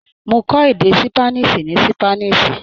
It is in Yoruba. Mó kọ̀ èdè ṣípánísì ní Ṣípánísì.